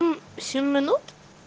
мм семь минут